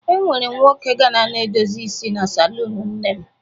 E nwere nwoke Ghana na-edosi isi na salụnụ nne m.